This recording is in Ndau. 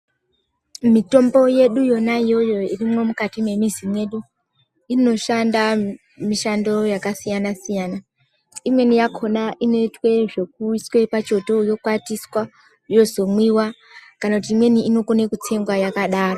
Mitombo yedu yona iyoyo irimwo mukati mwemizi medu inoshanda mishando yakasiyana siyana imweni yakona inoitwe zvekuiswe pachoto yokwatiswa yozomwiwa kana kuti imweni inokone kutsengiwa yakadaro.